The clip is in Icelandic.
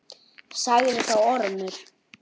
Sagði þá Ormur